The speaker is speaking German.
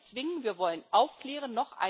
Wir wollen nicht zwingen, wir wollen aufklären.